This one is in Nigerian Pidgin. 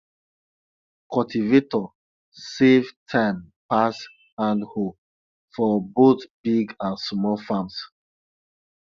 cultivator save time pass handhoe for both big and small farms